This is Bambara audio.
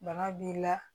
Bana b'i la